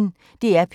DR P1